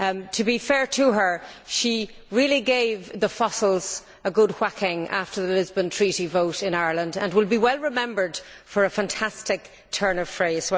To be fair to her, she really gave the fossils a good whacking after the Lisbon Treaty vote in Ireland, and will be well remembered for a fantastic turn of phrase.